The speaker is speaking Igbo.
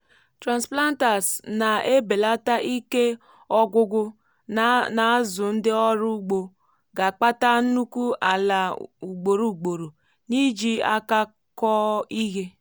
transplanters nà ebelata iké ọgwụgwụ ná azu ndị ọrụ ugbo gá ákpatá nhùkwù àlà ugbòrò ugbòrò ni iji áká kọọ ihe